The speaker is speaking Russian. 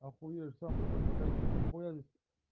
охуеешь сам потом отдай нехуя ведь